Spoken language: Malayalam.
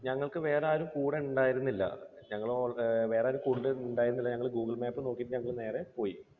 ഞങ്ങൾക്ക് വേറെ ആരും കൂടെ ഉണ്ടായിരുന്നില്ല. ഞങ്ങൾ ഓൾ അഹ് വേറെ ആരും കൂടെ ഉണ്ടായിരുന്നില്ല. google map നോക്കീട്ട് ഞങ്ങൾ നേരെ പോയി.